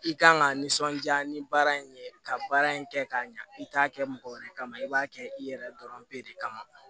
I kan ka nisɔndiya ni baara in ye ka baara in kɛ k'a ɲa i t'a kɛ mɔgɔ wɛrɛ kama i b'a kɛ i yɛrɛ dɔrɔn bɛ de kama